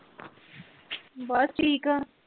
ਬੱਸ ਠੀਕ ਆ